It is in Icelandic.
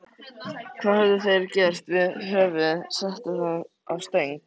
Hvað höfðu þeir gert við höfuðið, sett það á stöng?